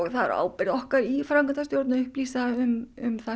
það er á ábyrgð okkar í framkvæmdastjórn að upplýsa um hvað